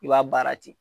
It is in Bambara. I b'a baara ten